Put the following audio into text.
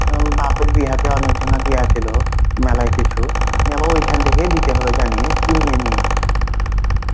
বাপের বিয়াহ তে অনেক জনা দিয়া ছিল মেলায় কিছু এবং ওইখান থেকে দিতে হলো জানিস কিনিনি.